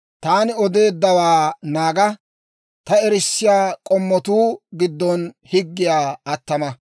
Taani odeeddawaa naaga; ta erissiyaa k'oomatuu giddon higgiyaa attama.